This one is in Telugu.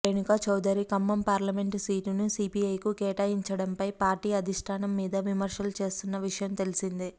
రేణుకా చౌదరి ఖమ్మం పార్లమెంటు సీటును సిపిఐకి కేటాయించడంపై పార్టీ అధిష్టానం మీద విమర్శలు చేస్తున్న విషయం తెలిసిందే